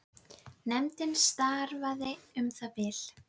Nefndin starfaði í um það bil